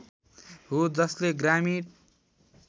हो जसले ग्रामीण